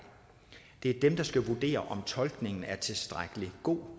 det er dem der skal vurdere om tolkningen er tilstrækkelig god og